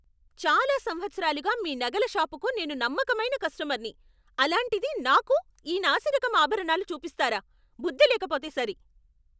చాలా సంవత్సరాలుగా మీ నగల షాపుకి నేను నమ్మకమైన కష్టమర్ని, అలాంటిది నాకు ఈ నాసిరకం ఆభరణాలు చూపిస్తారా? బుద్ధి లేకపోతే సరి.